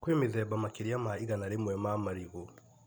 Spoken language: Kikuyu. Kwĩ mĩthemba makĩria ma igana rĩmwe ma marigũ.